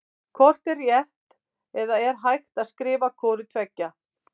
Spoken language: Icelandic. Hvort er rétt eða er hægt að skrifa hvort tveggja?